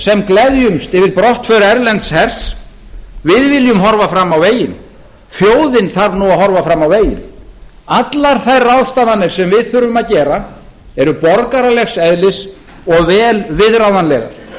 sem gleðjumst yfir brottför erlends hers við viljum horfa fram á veginn þjóðin þarf nú að horfa fram á veginn allar þær ráðstafanir sem við þurfum að gera eru borgaralegs eðlis og vel viðráðanlegar